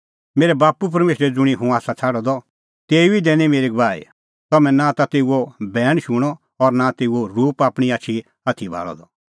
मेरै बाप्पू परमेशरै ज़ुंणी हुंह आसा छ़ाडअ द तेऊ ई दैनी मेरी गवाही तम्हैं नां ता तेऊओ बैण शूणअ और नां तेऊओ रूप आपणीं आछी आथी भाल़अ द